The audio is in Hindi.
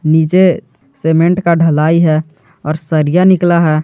नीचे सीमेंट का ढलाई है और सरिया निकला है।